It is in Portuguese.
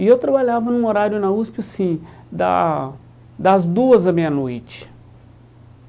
E eu trabalhava num horário na USP, assim, da das duas à meia-noite.